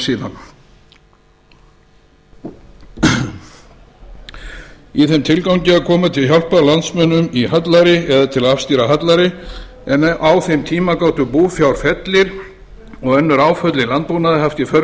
síðan í þeim tilgangi að koma til hjálpar landsmönnum í hallæri eða til að afstýra hallæri en á þeim tíma gæti búfjárfellir og önnur áföll í landbúnaði haft í för